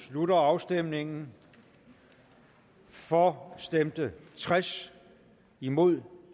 slutter afstemningen for stemte tres imod